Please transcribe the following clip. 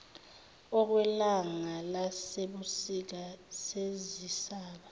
okwelanga lasebusika sezisaba